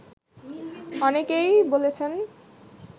অনেকেই বলেছেন